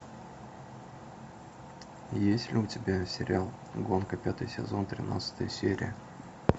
есть ли у тебя сериал гонка пятый сезон тринадцатая серия